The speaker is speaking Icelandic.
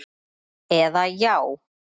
eða Já!